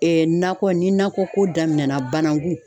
Ee nakɔ ni nakɔko daminɛna banangu